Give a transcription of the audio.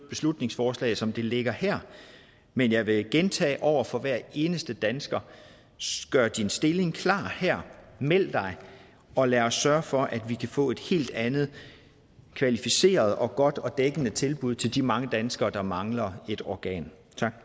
beslutningsforslaget som det ligger her men jeg vil gentage over for hver eneste dansker gør din stilling klar her meld dig og lad os sørge for at vi kan få et helt andet kvalificeret og godt og dækkende tilbud til de mange danskere der mangler et organ